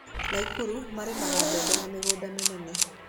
Nakuru marĩmaga mbembe na mĩgũnda mĩnene.